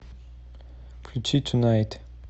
включи тунайт